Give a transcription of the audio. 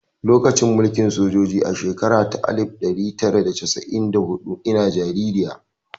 Lokacin mulkin sojoji a shekara ta alif ɗari tara da casa'in da huɗu ina jaririya